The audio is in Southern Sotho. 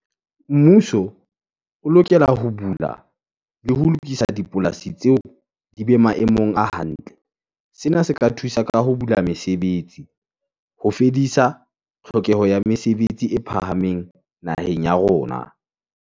Mmuso o lokela ho bula le ho lokisa dipolasi tseo di be maemong a hantle. Sena se ka thusa ka ho bula mesebetsi ho fedisa tlhokeho ya mesebetsi e phahameng naheng ya rona.